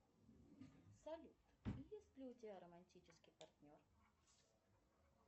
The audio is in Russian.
салют есть ли у тебя романтический партнер